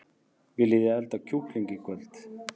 Viljiði elda kjúkling í kvöld?